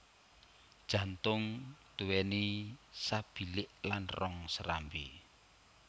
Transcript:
Jantung duwéni sabilik lan rong serambi